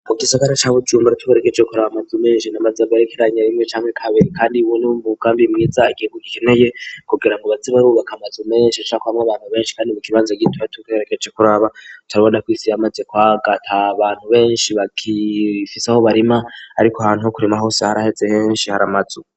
Mu gisagara cabe jyumbara turegeje kurab mazumenjina mazabarekeranye rimwe canke kabiri, kandi wunimb ugambi mwiza igingo gikeneye kugira mu bazibarubaka amazu menshi acako bamwo abantu benshi, kandi mu kibanza gituba tukerekeje kuraba turabodakwisiya, maze kwagata a bantu benshi bakifiseaho barima, ariko ahantu ho kurima hose haraheze henshi hari amazu.